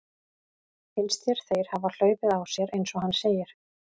Finnst þér þeir hafa hlaupið á sér eins og hann segir?